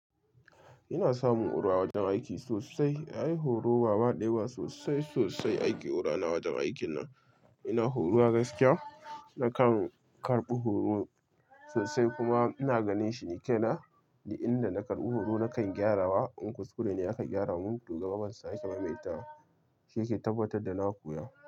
Ina samun huru a wajen aiki sosai. Ai horo wa ba ɗaya ba sosai sosai ake hora ni a wajen aikin nan. Ina horuwa a gaskiya, nakan karɓi horo sosai kuma ina ganin shi ni kaina, duk inda na karɓi horo na kan gyarawa, in kuskure ne aka gyara mun to gaba ban sake maimaita wa. Shi yake tabbatar da na koya.